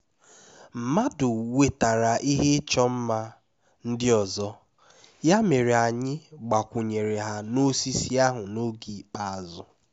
mmadụ wetara ihe ịchọ mma ndị ọzọ ya mere anyị gbakwunyere ha n'osisi ahụ n'oge ikpeazụ